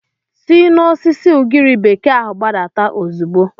Si n'osisi ugiri bekee ahụ gbadata ozugbo!